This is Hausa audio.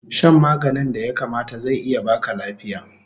Shan maganin da ya kamata zai iya baka lafiya